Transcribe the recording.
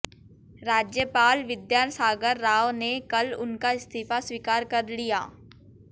राज्यपाल विद्यासागर राव ने कल उनका इस्तीफा स्वीकार कर लिया